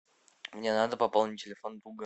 мне надо пополнить телефон друга